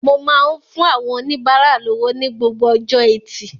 Mo máa ń fún àwọn oníbárà lówó ní gbogbo ọjọ́ Ẹtì